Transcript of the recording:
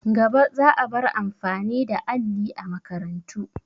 Gaba za a bar amfani da alli a makarantu.